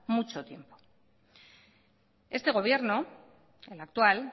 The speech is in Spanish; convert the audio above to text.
mucho tiempo este gobierno el actual